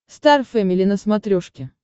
стар фэмили на смотрешке